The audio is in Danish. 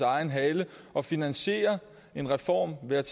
egen hale og finansierer en reform ved at